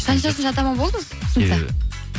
қаншасыншы атаман болдыңыз